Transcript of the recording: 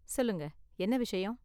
சொல்லுங்க, என்ன விஷயம்.